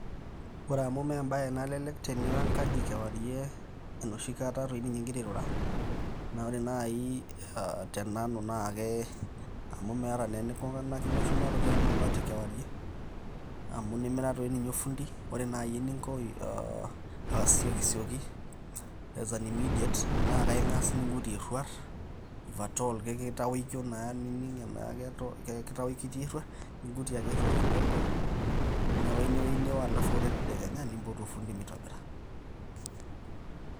Kore amu me embae nalelek teneo enkaji kewarie enooshi kata dei ninye ingira airura, naa kore naai te nanu naake meeta inikunakino shumata te emabati. Nimira taa ninye efundi ore naaji eningo asiokisioki as an immediate naa kaing'as nindurie eruat if at all kitaokio naa niining naa ajo kitaokio eruat ningutie ake eruat kidogo neo ine wueji neo halafu kore tadekenya niimpotu olfundi meitobira.